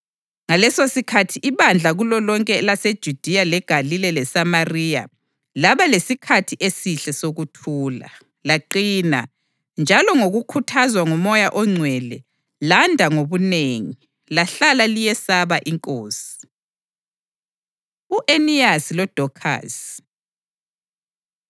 Ngalesosikhathi ibandla kulolonke elaseJudiya leGalile leSamariya laba lesikhathi esihle sokuthula. Laqina, njalo ngokukhuthazwa nguMoya oNgcwele landa ngobunengi, lahlala liyesaba iNkosi. U-Eniyasi LoDokhasi